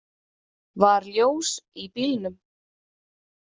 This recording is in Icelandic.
Var ljós í bílnum?